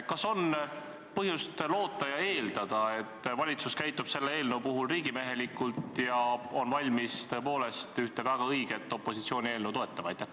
Kas on põhjust loota ja eeldada, et valitsus käitub selle eelnõu puhul riigimehelikult ja on valmis tõepoolest ühte väga õiget opositsiooni eelnõu toetama?